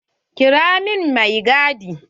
Kira min mai gadi.